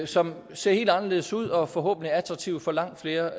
som ser helt anderledes ud og som forhåbentlig er attraktive for langt flere